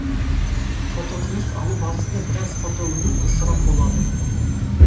фототыныс алу барысында біраз фотоөнім ысырап болады